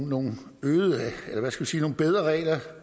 nogle bedre regler